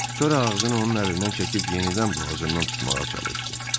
Sonra ağzını onun əlindən çəkib yenidən boğazından tutmağa çalışdı.